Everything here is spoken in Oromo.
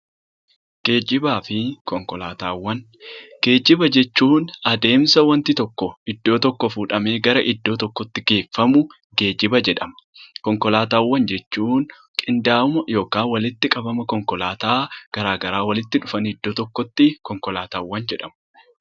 Geejjibaa fi konkolaataawwan Geejjiba jechuun adeemsa wanti tokko iddoo tokkoo fuudhamee gara iddoo tokootti geeffamu 'Geejjiba' jedhama. Konkolaataawwan jechuun qindaa'ina yookiin walitti qabama konkolaataa gara garaa walitti dhufanii iddoo tokkotti 'konkolaataawwan' jedhamu.